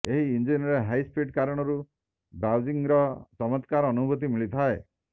ଏହି ଇଞ୍ଜିନର ହାଇସ୍ପିଡ କାରଣରୁ ବ୍ରାଉଜିଂର ଚମତ୍କାର ଅନୁଭୁତି ମିଳିଥାଏ